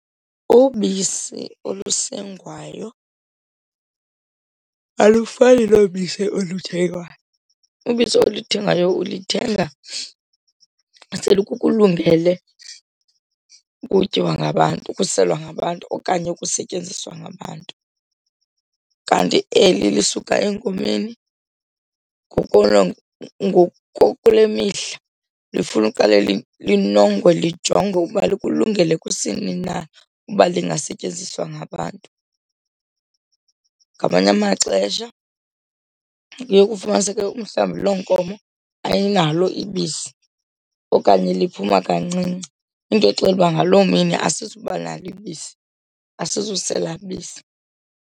Ubisi olusengwayo alufani nobisi oluthengwayo. Ubisi oluthengwayo ulithenga selikulungele ukutyiwa ngabantu, ukuselwa ngabantu okanye ukusetyenziswa ngabantu, kanti eli lisuka enkomeni kule mihla lifuna uqale linongwe lijongwe ukuba likulungele kusini na ukuba lingasetyenziswa ngabantu. Ngamanye amaxesha kuye ufumaniseke umhlawumbi loo nkomo ayinalo ibisi okanye liphuma kancinci, into exela uba ngaloo mini asizuba nalo ibisi, asizusela bisi.